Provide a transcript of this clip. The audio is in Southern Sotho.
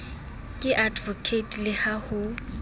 ke advocate le ha ho